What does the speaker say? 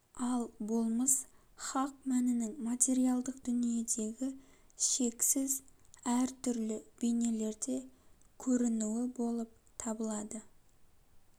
ал болмыс хақ мәнінің материалдық дүниедегі шексіз әр түрлі бейнелерде көрінуі болып табылады